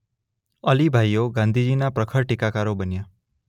અલી ભાઈઓ ગાંધીજીના પ્રખર ટીકાકારો બન્યાં.